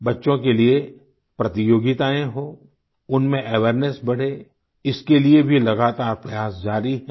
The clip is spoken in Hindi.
बच्चों के लिये प्रतियोगिताएं हों उनमें अवेयरनेस बढ़े इसके लिये भी लगातार प्रयास जारी हैं